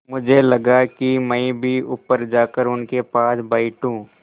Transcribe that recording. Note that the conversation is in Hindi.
मुझे लगा कि मैं भी ऊपर जाकर उनके पास बैठूँ